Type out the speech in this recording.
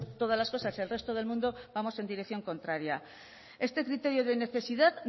todas las cosas el resto del mundo vamos en dirección contraria este criterio de necesidad